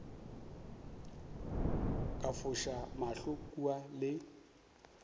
ka foša mahlo kua le